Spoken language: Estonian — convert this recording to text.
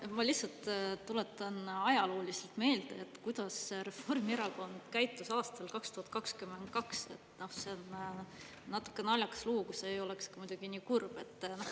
Jaa, ma lihtsalt tuletan ajalooliselt meelde, kuidas Reformierakond käitus aastal 2022, see on natuke naljakas lugu, kui see ei oleks muidugi nii kurb.